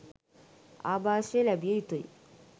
ආභාෂය ලැබිය යුතුයි.